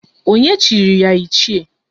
Onye chiri ya Ichie?